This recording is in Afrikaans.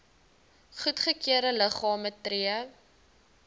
goedgekeurde liggame tree